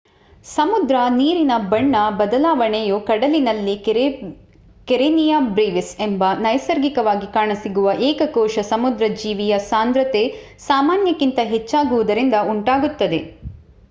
ಸಮುದ್ರ ನೀರಿನ ಬಣ್ಣ ಬದಲಾವಣೆಯು ಕಡಲಿನಲ್ಲಿ ಕೆರೆನಿಯ ಬ್ರೆವಿಸ್ ಎಂಬ ನೈಸರ್ಗಿಕವಾಗಿ ಕಾಣಸಿಗುವ ಏಕ ಕೋಶ ಸಮುದ್ರ ಜೀವಿಯ ಸಾಂದ್ರತೆ ಸಾಮಾನ್ಯಕ್ಕಿಂತ ಹೆಚ್ಚ್ಚಾಗುವುದರಿಂದ ಉಂಟಾಗುತ್ತದೆ